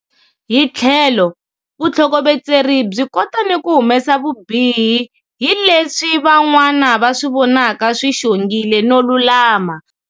Hi tlhelo, vutlhokovetseri byi kota ni ku humesa vubihi hi leswi van'wana va swi vonaka swi xongile no lulama.